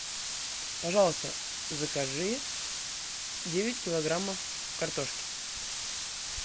пожалуйста закажи девять килограммов картошки